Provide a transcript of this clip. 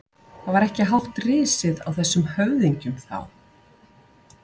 Það var ekki hátt risið á þessum höfðingjum þá!